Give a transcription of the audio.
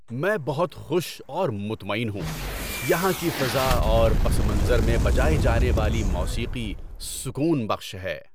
میں بہت خوش اور مطمئن ہوں، یہاں کی فضا اور پس منظر میں بجائی جانے والی موسیقی سکون بخش ہے!